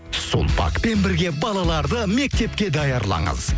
сулпакпен бірге балаларды мектепке даярлаңыз